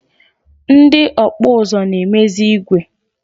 Ndị ọkpụ ụzụ na-emezi igwe.